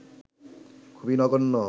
খুবই নগন্য